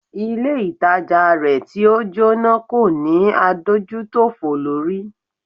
Ilé ìtajà rẹ̀ tí o Jóná kò ní adójútòfò lórí.